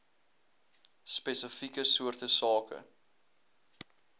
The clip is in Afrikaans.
spesifieke soorte sake